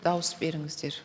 дауыс беріңіздер